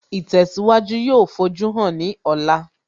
Ìtẹ̀síwájú yóò fojúhàn ní ọ̀la